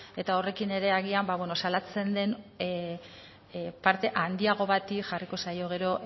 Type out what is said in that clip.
eta horrekin ere agian ba beno salatzen den parte handiago bati jarriko zaio gero